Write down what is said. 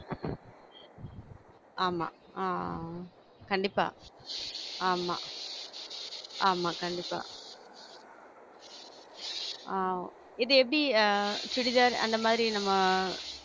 ஆமா ஆஹ் கண்டிப்பா ஆமா ஆமா கண்டிப்பா ஆஹ் இது எப்டி அஹ் சுடிதார் அந்த மாதிரி நம்ம